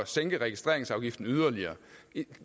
sænke registreringsafgiften yderligere